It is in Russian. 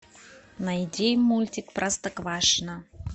найди мультик простоквашино